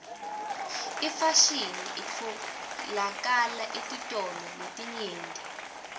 ifashini itfolakala etitolo letinyenti